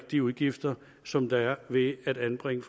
de udgifter som der er ved at anbringe